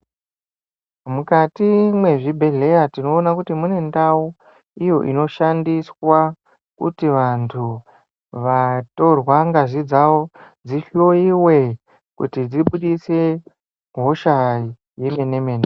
Mukati mezvibhedhlera tinoona kuti mune ndau iyo inoshandiswa kuti vantu vatorwa ngazi dzavo dzihloyiwe dzibudise hosha yemene mene.